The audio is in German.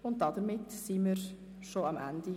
12.a Steueranlage VA